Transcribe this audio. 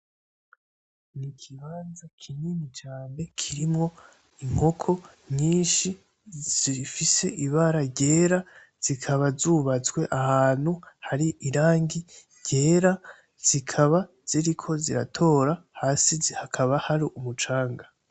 Ni ikibanza kinini cane kirimwo inkoko nyinshi zifise ibara ryera zikaba zubatswe ahantu hari irangi ryera zikaba ziriko ziratora hasi zi hakaba hari umucanga.